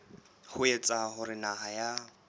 ho etsa hore naha ya